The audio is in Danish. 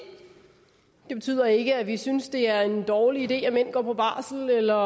det betyder ikke at vi synes at det er en dårlig idé at mænd går på barsel eller